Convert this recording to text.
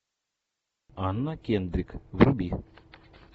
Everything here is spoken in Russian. анна кендрик вруби